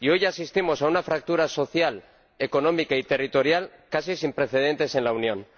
Y hoy asistimos a una fractura social, económica y territorial casi sin precedentes en la Unión.